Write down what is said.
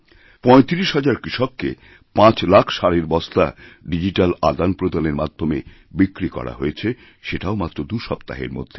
৩৫ হাজার কৃষককে ৫ লাখ সারের বস্তা ডিজিট্যাল আদানপ্রদানের মাধ্যমে বিক্রি করাহয়েছে সেটাও মাত্র দুসপ্তাহের মধ্যে